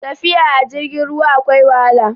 tafiya a jirgin ruwa akwai wahala